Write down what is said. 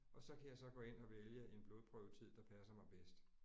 Og så kan jeg så gå ind og vælge en blodprøvetid der passer mig bedst